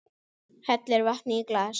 Hellir vatni í glas.